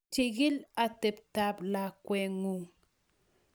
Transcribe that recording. chikii otebtab lakweng'ung